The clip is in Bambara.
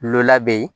Lu lade